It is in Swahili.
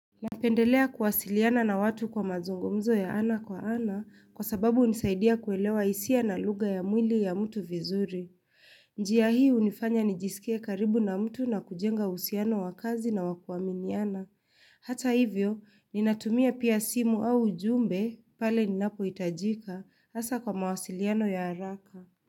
Napendelea kuwasiliana na watu kwa mazungumzo ya ana kwa ana kwa sababu hunisaidia kuelewa hisia na lugha ya mwili ya mtu vizuri. Njia hii hunifanya nijisikie karibu na mtu na kujenga uhusiano wa kazi na wa kuaminiana. Hata hivyo, ninatumia pia simu au ujumbe pale ninapoitajika hasa kwa mawasiliano ya haraka.